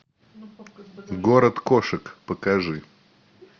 город кошек покажи